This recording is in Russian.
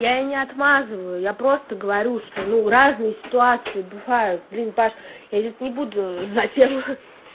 я и не отмазываю я просто говорю что ну разные ситуации бывают блин паш я сейчас не буду за тем